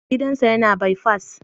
Gidan sa yana bai fas